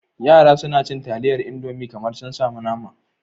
Yara suna cin taliyar Indomi kamar sun samu nama.